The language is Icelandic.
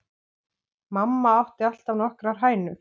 Mamma átti alltaf nokkrar hænur.